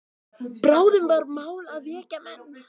Bráðum var mál að vekja menn.